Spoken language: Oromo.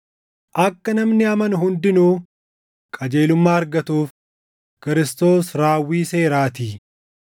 Akka namni amanu hundinuu qajeelummaa argatuuf Kiristoos raawwii seeraatii.